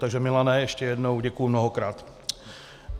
Takže Milane, ještě jednou, děkuji mnohokrát.